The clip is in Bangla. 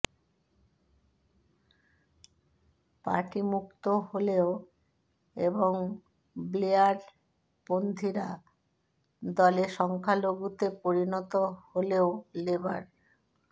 পার্টি মুক্ত হলেও এবং ব্লেয়ারপন্থিরা দলে সংখ্যালঘুতে পরিণত হলেও লেবার